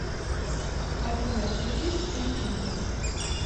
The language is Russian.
афина включи скрипченко